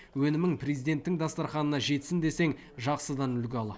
өнімің президенттің дастарханына жетсін десең жақсыдан үлгі ал